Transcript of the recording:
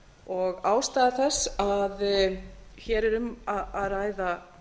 og ástæða þess að hér er um ræða